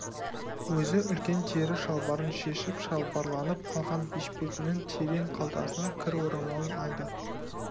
өзі үлкен тері шалбарын шешіп шалбарланып алған бешпетінің терең қалтасынан кір орамалын алды